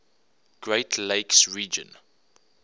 great lakes region